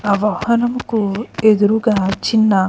ఆ వాహనకు ఎదురుగా చిన్న --